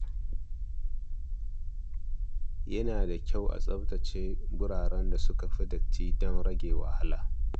Yana da kyau a fara da tsaftace wuraren da suka fi datti don rage wahala.